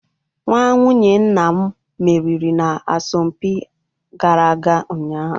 Nwa nwunye nna m meriri n'asọmpi a gara ụnyaahụ.